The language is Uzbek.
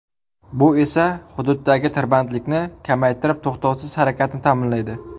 Bu esa xududdagi tirbandlikni kamaytirib to‘xtovsiz harakatni ta’minlaydi.